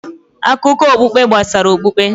Akụkọ okpukpe gbasara okpukpe